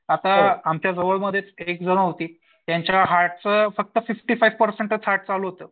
आता मच्याजवळमधेच एक जण होतीत त्यांच्या हार्ट चं फक्त फिफ्टी फाईव्ह परसेंटच हार्ट चालू होतं.